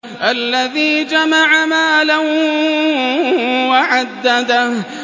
الَّذِي جَمَعَ مَالًا وَعَدَّدَهُ